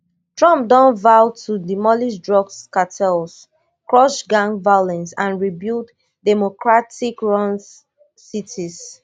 trump don vow to demolish drugs cartels crush gang violence and rebuild democratic run cities